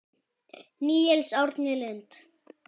Níels Árni Lund.